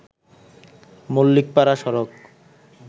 মল্লিকপাড়া সড়ক